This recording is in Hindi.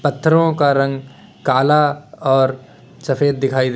पत्थरों का रंग काला और सफेद दिखाई दे--